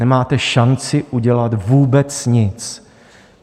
Nemáte šanci udělat vůbec nic.